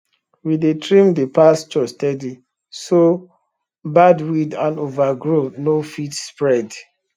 we dey trim the pasture steady so bad weed and overgrow no fit spread